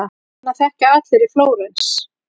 Hana þekkja allir í Flórens.